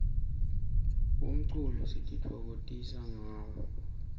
umculo sititfokotisa ngawo